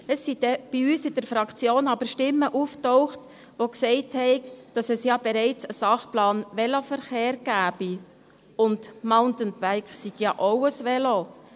Es tauchten in unserer Fraktion dann aber Stimmen auf, die sagten, es gebe ja bereits einen Sachplan Veloverkehr, und das Mountainbike sei ja auch ein Velo;